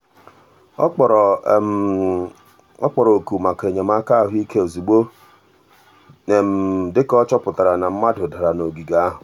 ọ kpọrọ ọ kpọrọ oku maka enyemaka ahụike ozugbo dị ka ọ chọpụtara na mmadụ dara n'ogige ahụ.